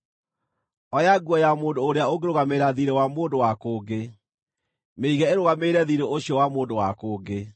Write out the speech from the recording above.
Oya nguo ya mũndũ ũrĩa ũngĩrũgamĩrĩra thiirĩ wa mũndũ wa kũngĩ; mĩige ĩrũgamĩrĩre thiirĩ ũcio wa mũndũ wa kũngĩ.